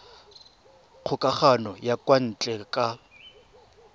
kgokagano ya kwa ntle ka